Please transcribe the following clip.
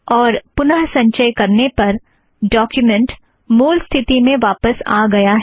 और पुनः संचय करने पर डोक्युमेंट मूल स्थिति में वापस आ गया है